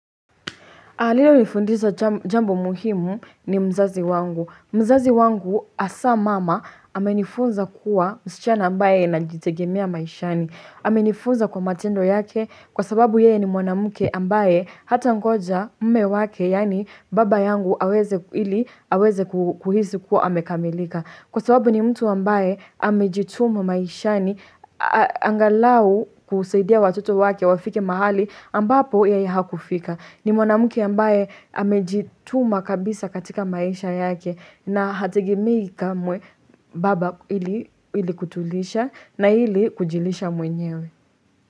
Aliyenifundisha jambo muhimu ni mzazi wangu. Mzazi wangu hasa mama amenifunza kuwa msichana ambaye najitegemea maishani. Amenifunza kwa matendo yake kwa sababu yeye ni mwanamke ambaye hatangoja mume wake, yaani baba yangu ili aweze kuhisi kuwa amekamilika. Kwa sababu ni mtu ambaye amejituma maishani angalau kusaidia watoto wake wafike mahali ambapo yeye hakufika. Ni mwanamke ambaye amejituma kabisa katika maisha yake na hategemei kamwe baba ili kutulisha na ili kujilisha mwenyewe.